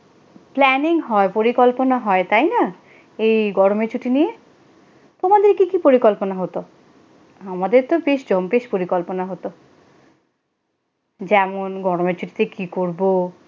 planning হয় পরিকল্পনা হয় তাই না এই গরমের ছুটি নিয়ে তোমাদের কি কি পরিকল্পনা হতো। আমাদের তো বেশ জম্পেশ পরিকল্পনা হতো যেমন গরমের ছুটিতে কি করব।